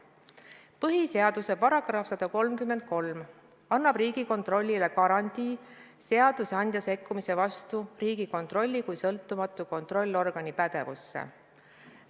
Põhiseaduse § 133 annab Riigikontrollile garantii, et seadusandja ei sekku Riigikontrolli kui sõltumatu kontrollorgani pädevusse.